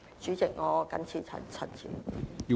主席，我謹此陳辭。